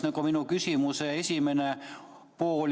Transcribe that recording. See on minu küsimuse esimene pool.